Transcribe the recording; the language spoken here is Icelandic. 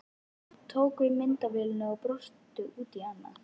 Hann tók við myndavélinni og brosti út í annað.